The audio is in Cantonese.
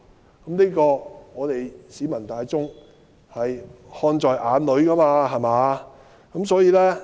就這些情況，我們市民大眾是看在眼內的。